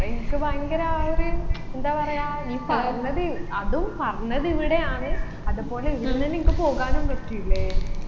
നിനക്ക് ഭയങ്കര ആ ഒരു എന്താ പറയാ നി പറഞ്ഞത് അതും പറഞ്ഞത് ഇവിടെയാന്ന് അതുപോലെ ഈടുന്നെന്നെ നിനക്ക് പോകാനും പറ്റിയില്ലേ